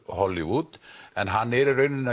Hollywood en hann er í raun